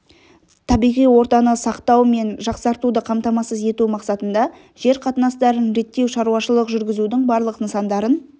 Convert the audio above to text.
табиғи ортаны сақтау мен жақсартуды қамтамасыз ету мақсатында жер қатынастарын реттеу шаруашылық жүргізудің барлық нысандарын